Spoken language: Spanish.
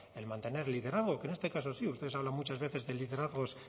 el mantener liderazgo que en este caso sí ustedes hablan muchas veces de liderazgos